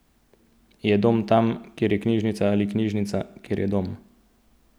Je dom tam, kjer je knjižnica ali knjižnica, kjer je dom?